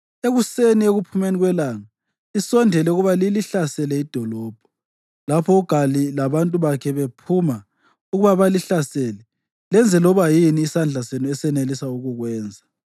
Ekuseni ekuphumeni kwelanga, lisondele ukuba lilihlasele idolobho. Lapho uGali labantu bakhe bephuma ukuba balihlasele, lenze loba yini isandla senu esanelisa ukukwenza.”